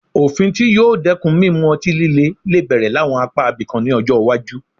Òfin tí yóò dẹ́kun mímu ọtí lílè lè bẹ̀rẹ̀ láwọn apá ibìkan ní ọjọ́ iwájú